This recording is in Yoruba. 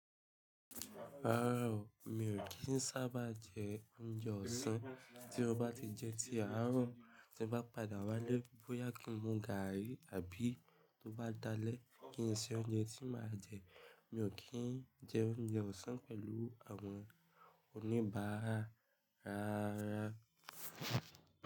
Rárá o, mi ò kí ń sábà jẹ oúnjẹ ọ̀sán. Tí mo bá ti jẹ ti àárọ̀ tí mo bá padà wálé bóyá kí n mu gààrí àbí tó bá dalẹ́ kí n ṣe oúnjẹ tí màá jẹ. Mi ò kí ń jẹ oúnjẹ ọ̀sán pẹ̀lú àwọn oníbàárà rararara.